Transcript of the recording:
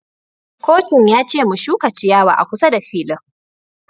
Kocin ya ce mu shuka ciyawa a kusa da filin